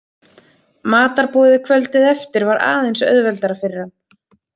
Matarboðið kvöldið eftir var aðeins auðveldara fyrir hann.